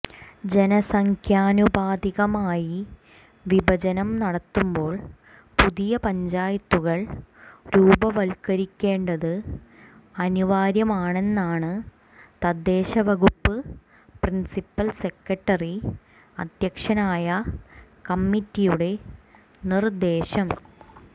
ജനസംഖ്യാനുപാതികമായി വിഭജനം നടത്തുമ്പോൾ പുതിയ പഞ്ചായത്തുകൾ രൂപവത്കരിക്കേണ്ടത് അനിവാര്യമാണെന്നാണ് തദ്ദേശവകുപ്പ് പ്രിൻസിപ്പൽ സെക്രട്ടറി അധ്യക്ഷനായ കമ്മിറ്റിയുടെ നിർദേശം